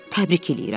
Təbrik eləyirəm.